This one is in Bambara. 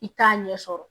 I t'a ɲɛ sɔrɔ